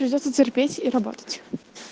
придётся терпеть и работать